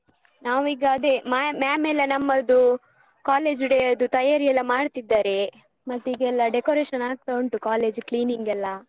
ನಾವೀಗ ಅದೇ ma'am ma'am ಎಲ್ಲ ನಮ್ಮದು college day ಯದ್ದು ತಯಾರಿಯೆಲ್ಲ ಮಾಡ್ತಿದ್ದಾರೆ ಮತ್ತೆ ಈಗೆಲ್ಲ decoration ಆಗ್ತಾ ಉಂಟು college cleaning ಎಲ್ಲ.